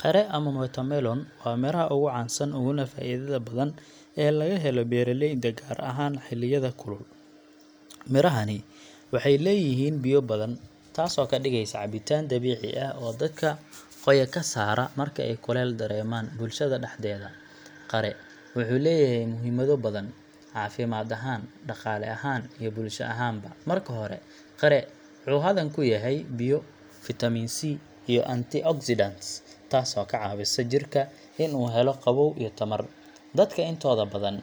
Qare ama watermelon waa midhaha ugu caansan uguna faa’iidada badan ee laga helo beeralayda, gaar ahaan xilliyada kulul. Midhahani waxay leeyihiin biyo badan, taasoo ka dhigaysa cabitaan dabiici ah oo dadka qoya ka saara marka ay kuleyl dareemaan. Bulshada dhexdeeda, qare wuxuu leeyahay muhiimado badan caafimaad ahaan, dhaqaale ahaan, iyo bulsho ahaanba. Marka hore, qare wuxuu hodan ku yahay biyo, fitamiin C iyo antioxidants, taasoo ka caawisa jidhka in uu helo qabow iyo tamar. Dadka intooda badan